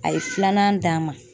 A ye filanan d'an ma